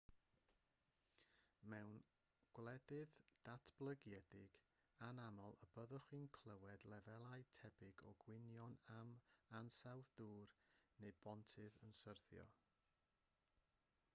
mewn gwledydd datblygedig anaml y byddwch chi'n clywed lefelau tebyg o gwynion am ansawdd dŵr neu bontydd yn syrthio